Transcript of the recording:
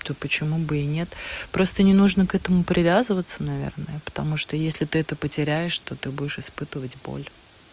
то почему бы и нет просто не нужно к этому привязываться наверное потому что если ты это потеряешь то ты будешь испытывать боль